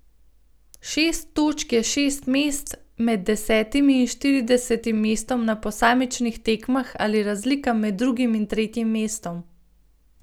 Šest točk je šest mest med desetim in štiridesetim mestom na posamičnih tekmah ali razlika med drugim in tretjim mestom.